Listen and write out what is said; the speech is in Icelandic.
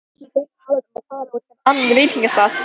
Höfðu þau talað um að fara á einhvern annan veitingastað?